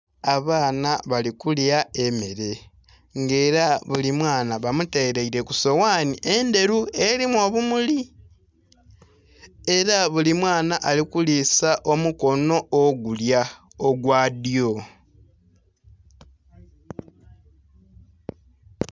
Abaana bali kulya emmere nga era buli mwaana ba mutereire ku soghani endheru erimu obumuli era buli mwaana ali kulima omukono ogulya ogwa dyo.